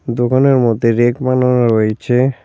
দোকানের মধ্যে রেক বানানো রয়েছে।